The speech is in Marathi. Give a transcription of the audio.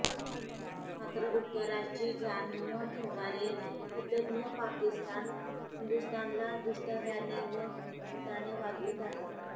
मात्र उपकाराची जाण न ठेवणारी कृतघ्न पाकिस्तान हिंदुस्थानला दुष्टाव्याने व कपटाने वागवीत आहे